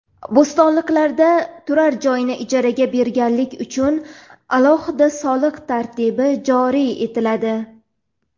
Bo‘stonliqda turar joyni ijaraga berganlik uchun alohida soliq tartibi joriy etiladi.